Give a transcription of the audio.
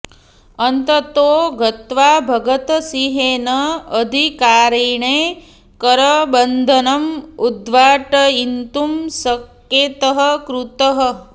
अन्ततो गत्वा भगतसिंहेन अधिकारिणे करबन्धनम् उद्घाटयितुं सङ्केतः कृतः